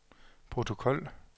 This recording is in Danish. protokol